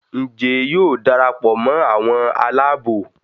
Njé yóò darapọ̀ mọ àwọn Àlàabò?